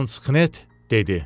Lantxnet dedi: